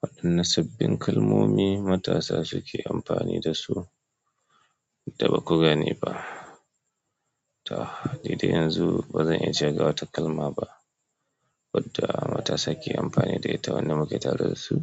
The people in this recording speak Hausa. Waɗanne sabbin kalmomi matasa suke amfani da su da ba ku gane ba? Toh nidai yanzu bazan iya cewa ga wata kalma ba. Wadda matasa ke amfani da ita wanda muke taru da su,